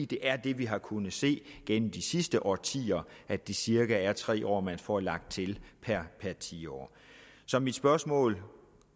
det er det vi har kunnet se gennem de sidste årtier at det cirka er tre år man får lagt til per tiår så mit spørgsmål